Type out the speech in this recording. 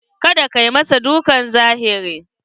Ka da ka masa dukkan zahiri!